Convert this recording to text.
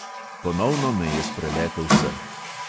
Ponovno me je spreletel srh.